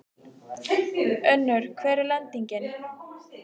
Pilturinn brá fingri í lykkjuna við stútinn og vingsaði henni.